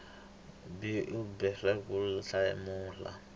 b u boheka ku hlamula